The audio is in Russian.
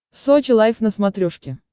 сочи лайф на смотрешке